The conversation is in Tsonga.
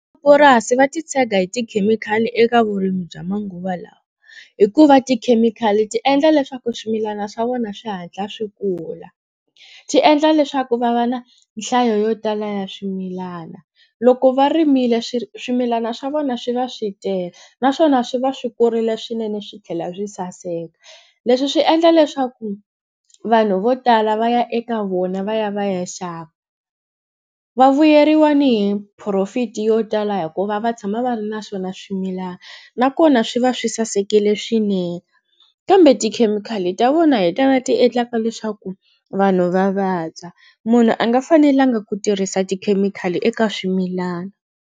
Va titshega hi tikhemikhali eka vurimi bya manguva lawa hikuva tikhemikhali ti endla leswaku swimilana swa vona swi hatla swi kula ti endla leswaku va va na nhlayo yo tala ya swimilana loko va rimile swi swimilana swa vona swi va swi tele naswona swi va swi kurile swinene swi tlhela swi saseka leswi swi endla leswaku vanhu vo tala va ya eka vona va ya va ya xava vavuyeriwa ni hi profit yo tala hikuva va tshama va ri na swona swimilana nakona swi va swi sasekile swinene kambe tikhemikhali ta vona hi tona ti endlaka leswaku vanhu va vabya munhu a nga fanelanga ku tirhisa tikhemikhali eka swimilana.